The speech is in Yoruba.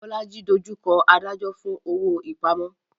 Bolaji dojú kọ adájọ́ fún owó ìpamọ́.